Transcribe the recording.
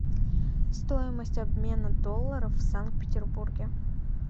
стоимость обмена долларов в санкт петербурге